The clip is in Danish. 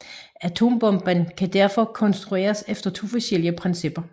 Atombomben kan derfor konstrueres efter to forskellige principper